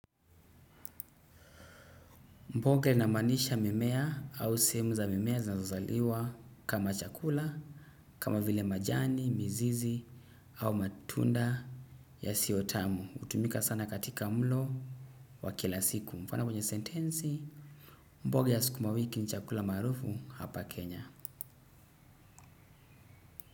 Mboga inamaanisha mimea au sehemu za mimea zinazozaliwa kama chakula, kama vile majani, mizizi au matunda yasiyotamu. Hutumika sana katika mlo wa kila siku mfano kwenye sentensi, mboga ya sukuma wiki ni chakula maarufu hapa Kenya.